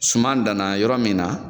Suman danna yɔrɔ min na